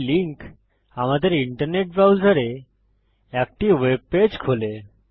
এই লিঙ্ক আমাদের ইন্টারনেট ব্রাউজারে একটি ওয়েব পেজ খোলে